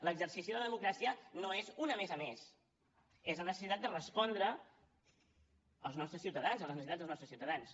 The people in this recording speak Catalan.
l’exercici de la democràcia no és un a més a més és una necessitat de respondre als nostres ciutadans a les necessitats dels nostres ciutadans